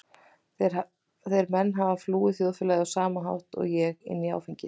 Þeir menn hafa flúið þjóðfélagið á sama hátt og ég- inn í áfengið.